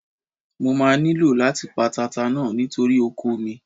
Mo máa nílò láti pa tata náà nítorí oko mi.